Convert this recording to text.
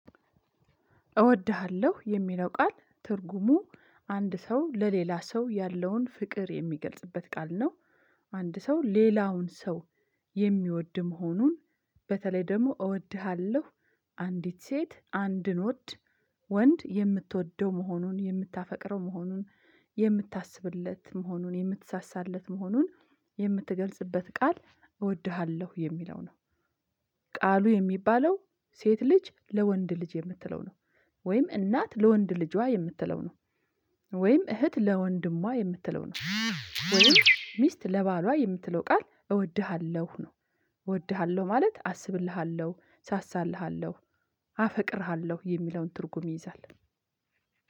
እወድሃለሁ የሚለው ቃል ትርጉሙ አንድ ሰው ለሌላ ሰው ያለውን ፍቅር የሚገልጽበት ቃል ነው። አንድ ሰው ሌላውን ሰው የሚወድ መሆኑን። በተለይ ደግሞ እወድሃለሁ አንዲት ሴት አንድን ዎድ ወንድ የምትወደው መሆኑን የምታፈቅረው መሆኑን የምታስብለት መሆኑን የምትሳሳለት መሆኑን የምትገልጽበት ቃል እወድሃለሁ የሚለው ነው። ቃሉ የሚባለው ሴት ልጅ ለወንድ ልጅ የምትለው ነው። ወይም እናት ለወንድ ልጇ የምትለው ነው። ወይም እህት ለወንድሟ የምትለው ነው። ወይም ሚስት ለባሏ የምትለው ቃል እወድሃለሁ ነው። እወድሃለሁ ማለት አስብልሃለሁ ሳሳልሃለሁ አፈቅርሃለሁ የሚለውን ትርጉም ይይዛል።